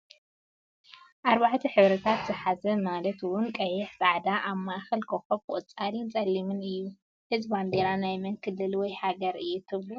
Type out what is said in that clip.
4 ሕብርታት ዝሓዘ ማለት ውን ቀይሕ፣ ፃዕዳ ኣብ ማእኸላ ኾኾብ፣ ቆፃልን ፀሊምን እዩ፡፡ እዚ ባንዴራ ናይ መን ክልል ወይ ሃገር እዩ ትብሉ?